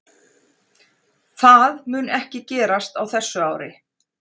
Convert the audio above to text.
Það mun ekki gerast á þessu ári.